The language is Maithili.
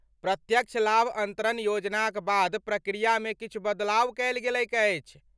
प्रत्यक्ष लाभ अन्तरण योजनाक बाद प्रक्रियामे किछु बदलाव कयल गेलैक अछि।